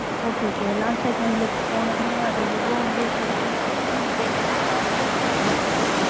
okay okay போன தடவ Vivo வந்து february twenty nine இப்ப எந்த month launch ஆயிருக்கு.